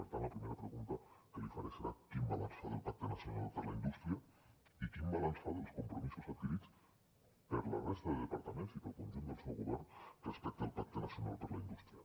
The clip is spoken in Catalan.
per tant la primera pregunta que li faré serà quin balanç fa del pacte nacional per a la indústria i quin balanç fa dels compromisos adquirits per la resta de departaments i pel conjunt del seu govern respecte al pacte nacional per a la indústria